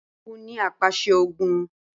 Balógun ni apàṣẹ ogun